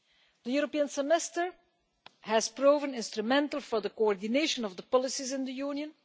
The European Semester has proven instrumental for the coordination of policies in the Union.